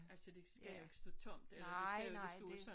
Altså det skal jo ikke stå tomt eller det skal jo ikke stå sådan